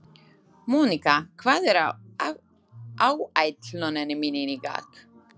Mónika, hvað er á áætluninni minni í dag?